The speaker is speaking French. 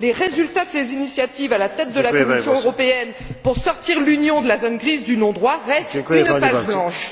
les résultats de ses initiatives à la tête de la Commission européenne pour sortir l'Union de la zone grise du non droit restent une page blanche.